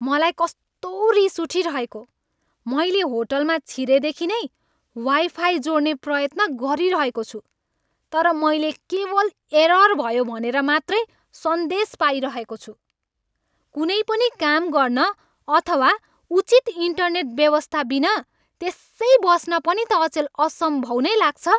मलाई कस्तो रिस उठिरहेको! मैले होटलमा छिरेदेखि नै वाइफाइ जोड्ने प्रयत्न गरिरहेको छु तर मैले केवल एरर भयो भनेर मात्रै सन्देश पाइरहेको छु। कुनै पनि काम गर्न अथवा उचित इन्टरनेट व्यवस्थाबिना त्यसै बस्न पनि त अचेल असम्भव नै लाग्छ।